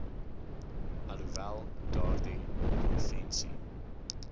alhoewel daardie konvensie